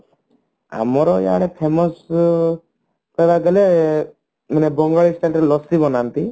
ଆମର ଇଆଡେ famous କହିବାକୁ ଗଲେ ବଙ୍ଗାଳୀ style ରେ ଲସି ବନାନ୍ତି